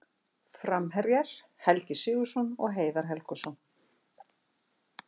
Framherjar: Helgi Sigurðsson og Heiðar Helguson.